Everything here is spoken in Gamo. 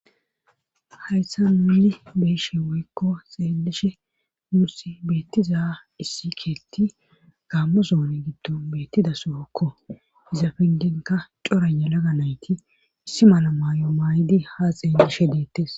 hayssa nuni beeshe woykko xeelishe nuussi beettiza issi keetti gaammosoone giddon beettida sohokko izapengenka corana laga nayti issi mala maayo maaydi ha xeellishe deettes